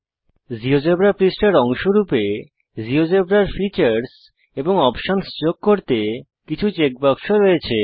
GeoGebra পৃষ্ঠার অংশ রূপে জীয়োজেব্রার ফিচারস এবং অপশন্স যোগ করতে কিছু চেক বাক্স রয়েছে